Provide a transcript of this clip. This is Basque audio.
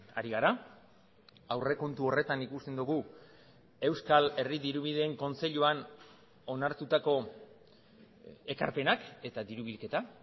ari gara aurrekontu horretan ikusten dugu euskal herri dirubideen kontseiluan onartutako ekarpenak eta diru bilketa